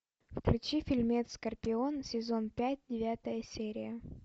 включи фильмец скорпион сезон пять девятая серия